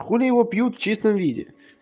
хули его пьют в чистом виде